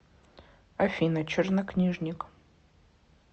афина чернокнижник